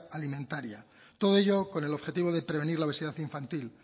alimentaria todo ello con el objetivo de prevenir la obesidad infantil